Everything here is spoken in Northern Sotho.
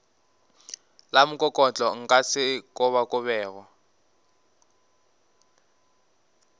la mokokotlo nka se kobakobege